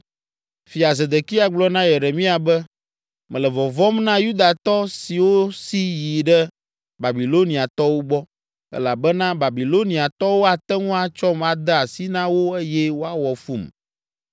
Fia Zedekia gblɔ na Yeremia be, “Mele vɔvɔ̃m na Yudatɔ siwo si yi ɖe Babiloniatɔwo gbɔ, elabena Babiloniatɔwo ate ŋu atsɔm ade asi na wo eye woawɔ fum.”